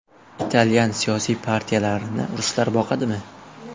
Italyan siyosiy partiyalarini ruslar boqadimi?